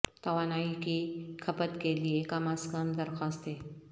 توانائی کی کھپت کے لئے کم از کم درخواستیں